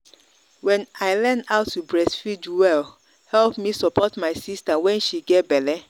when i learn how to breastfeed well help me support my sister when she get belle.